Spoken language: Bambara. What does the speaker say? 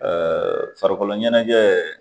farikolo ɲɛnajɛ